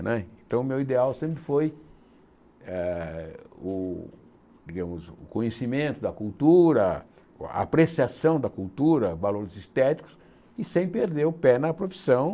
Então o meu ideal sempre foi eh o digamos o conhecimento da cultura, a apreciação da cultura, valores estéticos e sem perder o pé na profissão.